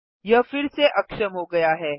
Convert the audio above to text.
यह फिर से अक्षम हो गया है